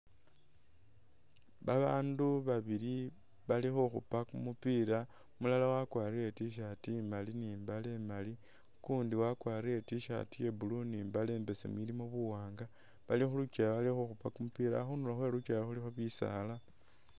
Babandu babili bali khukhupa kumupila umulala wakwarile t-shirt imali ni imbale imali ukundi wakwarile t-shirt ye blue ni imbale imbesemu ilimo buwanga bali khulukyewa bali khukhupa kumupila khundulo khwelukyewa khulikho bisaala